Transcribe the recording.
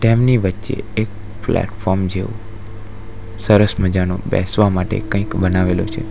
તેમની વચ્ચે એક પ્લેટફોર્મ જેવું સરસ મજાનો બેસવા માટે કંઈક બનાવેલો છે.